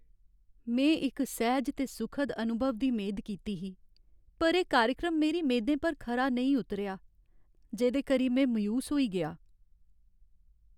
में इक सैह्ज ते सुखद अनुभव दी मेद कीती ही, पर एह् कार्यक्रम मेरी मेदें पर खरा नेईं उतरेआ, जेह्दे करी में मायूस होई गेआ।